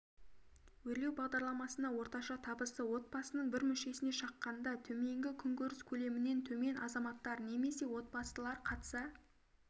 өрлеу бағдарламасына орташа табысы отбасының бір мүшесіне шаққанда төменгі күнкөріс көлемінен төмен азаматтар немесе отбасылар қатыса